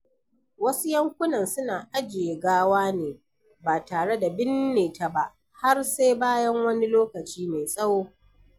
Wasu yankunan suna ajiye gawa ne ba tare da binne ta ba har sai bayan wani lokaci mai tsawo.